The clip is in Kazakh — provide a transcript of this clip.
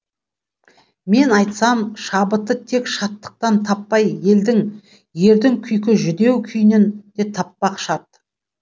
мен айтсам шабытты тек шаттықтан таппай елдің ердің күйкі жүдеу күйінен де таппақ шарт